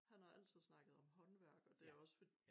Han har altid snakket om håndværk og det også for